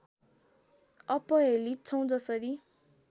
अपहेलित छौ जसरी